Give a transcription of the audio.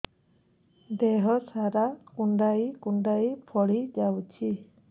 ଦେହ ସାରା କୁଣ୍ଡାଇ କୁଣ୍ଡାଇ ଫଳି ଯାଉଛି